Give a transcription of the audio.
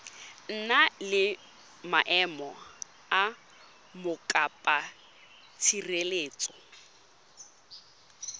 na le maemo a mokopatshireletso